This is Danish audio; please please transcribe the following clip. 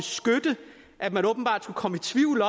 at man åbenbart kunne komme i tvivl